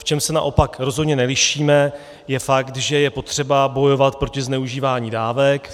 V čem se naopak rozhodně nelišíme, je fakt, že je potřeba bojovat proti zneužívání dávek.